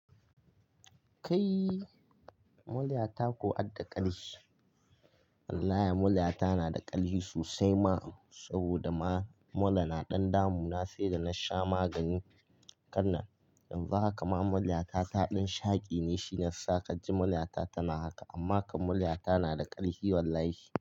Kai murya ta ko adda ƙarfi? Wallahi murya ta na da ƙarfi sosai ma saboda ma mura na ɗan damuna sai da na sha magani. Kanan in za a kama murya ta ta ɗan shaƙi ne shine sakar ji murya ta tana haka. Amma kam murya ta na da ƙarfi wallahi.